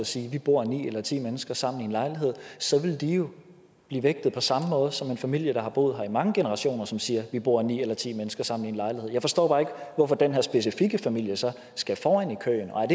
siger at vi bor ni eller ti mennesker sammen i en lejlighed så vil de jo blive vægtet på samme måde som en familie der har boet her i mange generationer og som siger at vi bor ni eller ti mennesker sammen i en lejlighed jeg forstår bare ikke hvorfor den her specifikke familie så skal foran i køen og er